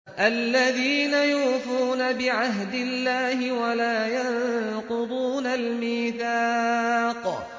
الَّذِينَ يُوفُونَ بِعَهْدِ اللَّهِ وَلَا يَنقُضُونَ الْمِيثَاقَ